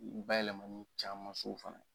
U bayɛlɛmaniw caman sow fana